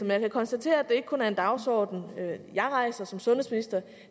jeg kan konstatere at det ikke kun er en dagsorden jeg rejser som sundhedsminister